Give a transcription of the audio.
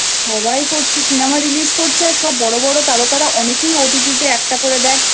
সবাই করছে CinemaRelease করছে আর বড়ো বড়ো তারকারা অনেকেই OTT তে একটা করে দেখ